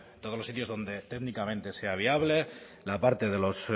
todos los sitios donde técnicamente sea viable la parte de los